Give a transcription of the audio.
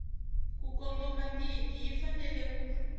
ku kongomangiki yi fanele ku